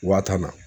Waa tan na